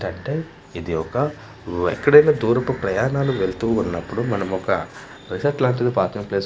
ఏంటంటే ఇది ఒక వెక్కడైనా దూరపు ప్రయాణాలు వెళ్తూ ఉన్నపుడు మనమొక రెసార్ట్ లాంటి పార్టెమ్ ప్లేస్ --